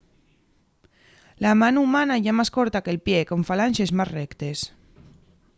la mano humana ye más corta que’l pie con falanxes más rectes